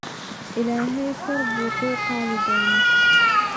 Illahey kor buukuqadhona.